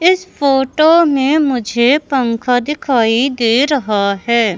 इस फोटो में मुझे पंखा दिखाई दे रहा है।